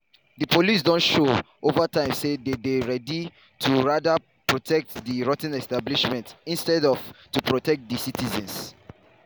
“di police don show over time say dey dey ready to rather protect di rot ten establishment instead of to protect di citizens.”